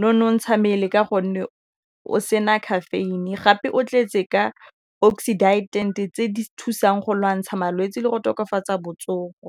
nonontsha mmele ka gonne o se na caffeine gape o tletse ka oxidant-e tse di thusang go lwantsha malwetsi le go tokafatsa botsogo.